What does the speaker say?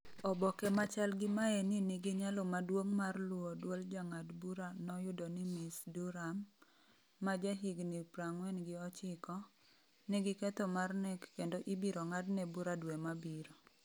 Oboke ma chal gi maeni nigi nyalo maduong’ mar luwo dwol Jang’ad bura noyudo ni Ms. Duram, ma jahigni 49, nigi ketho mar nek kendo ibiro ng’adne bura dwe mabiro.